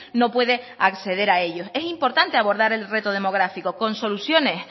no puede acceder a ellos es importante abordar el reto demográfico con soluciones